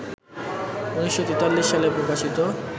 ১৯৪৩ সালে প্রকাশিত